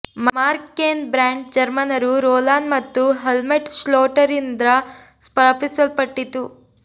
mark Cain brand ಜರ್ಮನರು Rolan ಮತ್ತು Helmut ಶ್ಲೋಟರ್ರಿಂದ ಸ್ಥಾಪಿಸಲ್ಪಟ್ಟಿತು